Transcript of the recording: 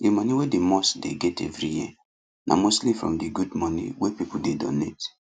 the money wey the mosque dey get every year na mostly from the good money wey people dey donate